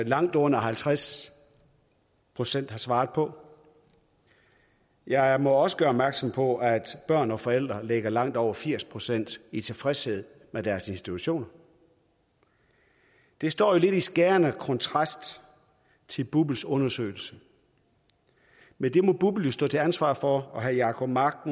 langt under halvtreds procent har svaret på jeg må også gøre opmærksom på at børn og forældre ligger langt over firs procent i tilfredshed med deres institutioner det står jo lidt i skærende kontrast til bupls undersøgelse men det må bupl jo stå til ansvar for og herre jacob mark